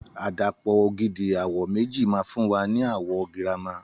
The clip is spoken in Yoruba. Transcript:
Àdàpọ̀ ògidì àwọ̀ méjì ma fún wa ni àwọ̀ girama